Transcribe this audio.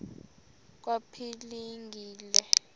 kwaphilingile